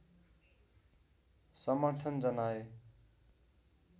समर्थन जनाए